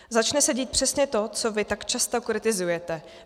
Začne se dít přesně to, co vy tak často kritizujete.